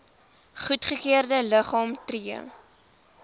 goedgekeurde liggame tree